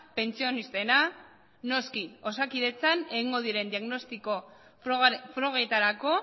pentsionistena noski osakidetzan egingo diren diagnostiko frogetarako